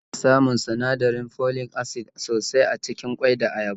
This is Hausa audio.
Ana samun sinadirin folic acid sosai acikin ƙwai da ayaba